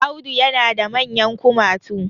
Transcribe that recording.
Audu yana da manyan kumatu